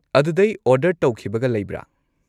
ꯑꯗꯨꯗꯩ ꯑꯣꯔꯗꯔ ꯇꯧꯈꯤꯕꯒ ꯂꯩꯕ꯭ꯔꯥ?